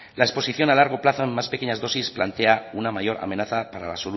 la exposición a largo plazo en unas pequeñas dosis plantea una mayor amenaza para la